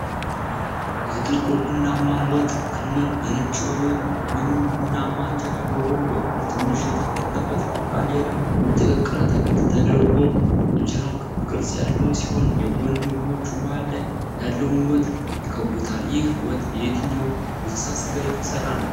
የጥቁር ቡናማ ወጥ ክምር በነጭ ወይንም ቡናማ እንጀራ በጎን በኩል ትንሽ የተከተፈ ሰላጣና ሌላ የተቀቀለ አትክልት ተደርጎ እንጀራው ክብ ቅርጽ ያለው ሲሆን፣ የጎን ምግቦቹ መሃል ላይ ያለውን ወጥ ይከብቡታል። ይህ ወጥ የየትኛው እንስሳ ሥጋ የተሠራ ነው?